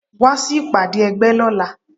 Wá sí ìpàdé ẹgbẹ́ lọ́la.